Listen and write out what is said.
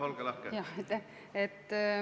Jah, olge lahke!